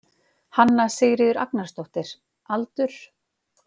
Hanna Sigríður Agnarsdóttir Aldur?